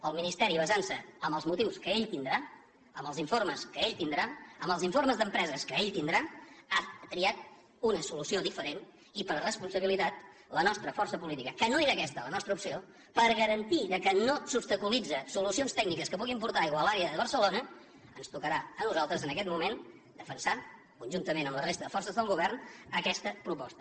el ministeri basant se en els motius que ell deu tenir en els informes que ell deu tenir en els informes d’empreses que ell deu tenir ha triat una solució diferent i per responsabilitat la nostra força política que no era aquesta la nostra opció per garantir que no s’obstaculitzen solucions tècniques que puguin portar aigua a l’àrea de barcelona ens tocarà a nosaltres en aquest moment defensar conjuntament amb la resta de forces del govern aquesta proposta